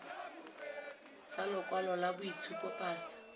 sa lokwalo la boitshupo pasa